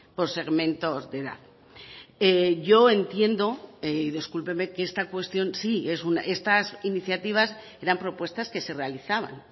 por segmentos de edad yo entiendo y discúlpeme que esta cuestión sí estas iniciativas eran propuestas que se realizaban